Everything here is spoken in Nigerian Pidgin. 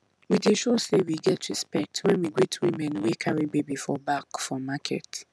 we dey show say we get respect when we greet women wey carry baby for back for market